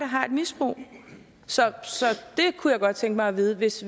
har et misbrug så jeg kunne godt tænke mig at vide hvis